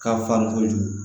Ka far' kojugu